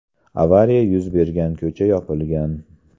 Avariya yuz bergan ko‘cha yopilgan.